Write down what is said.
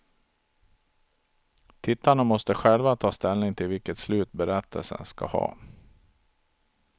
Tittarna måste själva ta ställning till vilket slut berättelsen skall ha.